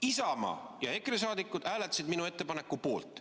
Isamaa ja EKRE liikmed hääletasid minu ettepaneku poolt.